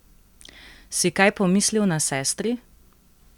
Si kaj pomislil na sestri?